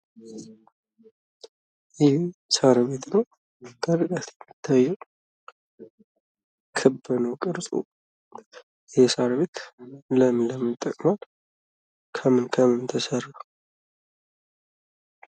ይህ ሳር ቤት ነው። ክርቀት የሚታየው ክብ ነው ቅርፁ። ለምንድን ነው? ከምን ከምን ተሰራ?